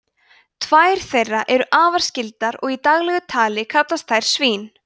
tvær þeirra eru afar skyldar og í daglegu tali kallast þær svín